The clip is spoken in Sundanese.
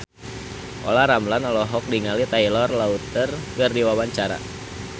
Olla Ramlan olohok ningali Taylor Lautner keur diwawancara